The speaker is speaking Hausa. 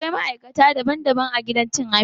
Akwai maikata daban-daban a gidan cin abinci